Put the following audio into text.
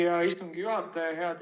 Hea istungi juhataja!